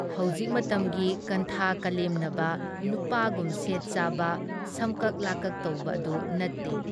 ꯍꯧꯖꯤꯛ ꯃꯇꯝꯒꯤ ꯀꯟꯊꯥ ꯀꯂꯦꯝꯅꯕ ꯅꯨꯄꯥꯒꯨꯝ ꯁꯦꯠ ꯆꯥꯕ, ꯁꯝꯀꯛ ꯂꯥꯀꯛ ꯇꯧꯕ ꯑꯗꯨ ꯅꯠꯇꯦ ꯫